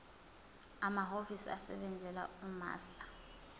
amahhovisi asebenzela umaster